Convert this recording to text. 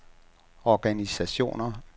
organisationer